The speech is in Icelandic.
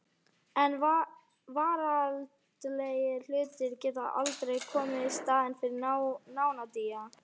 En veraldlegir hlutir geta aldrei komið í staðinn fyrir nándina.